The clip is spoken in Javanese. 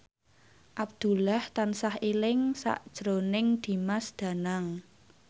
Abdullah tansah eling sakjroning Dimas Danang